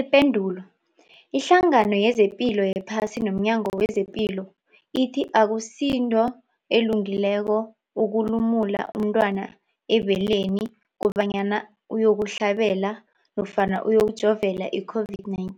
Ipendulo, iHlangano yezePilo yePhasi nomNyango wezePilo ithi akusinto elungileko ukulumula umntwana ebeleni kobanyana uyokuhlabela nofana uyokujovela i-COVID-19.